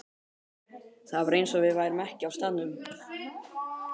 Það var eins og við værum ekki á staðnum.